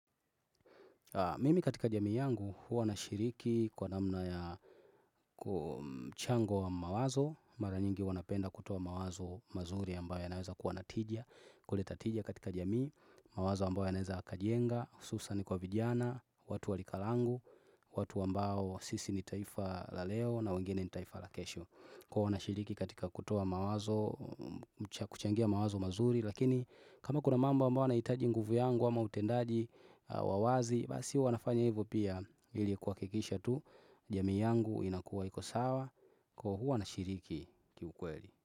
Mimi katika jamii yangu huwa nashiriki kwa namna ya mchango wa mawazo, mara nyingi huwa napenda kutoa mawazo mazuri ambayo yanaweza kuwa na tija, kuleta tija katika jamii, mawazo ambayo yanaweza yakajenga, hususan kwa vijana, watu wa lika langu, watu ambao sisi ni taifa la leo na wengine ni taifa la kesho. Kwa wanashiriki katika kutoa mawazo, kuchangia mawazo mazuri. Lakini kama kuna mambo ambayo yanahitaji nguvu yangu ama utendaji wa wazi, Basi huwa nafanya hivo pia ili kuhakikisha tu jamii yangu inakuwa iko sawa Kwa huwa nashiriki kiukweli.